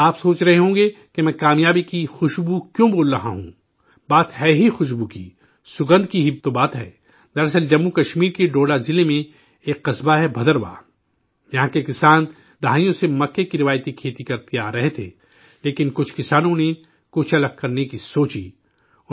آپ سوچ رہے ہوں گے کہ میں کامیابی کی خوشبو کیوں بول رہا ہوں بات ہے ہی خوشبو کی! دراصل، جموں و کشمیر کے ڈوڈہ ضلع میں ایک قصبہ ہے 'بھدرواہ'! یہاں کے کسان دہائیوں سے مکئی کی روایتی کھیتی کرتے آ رہے تھے، لیکن کچھ کسانوں نے کچھ الگ کرنے کی سوچی